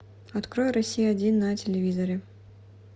открой россия один на телевизоре